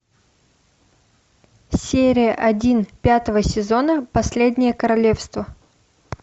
серия один пятого сезона последнее королевство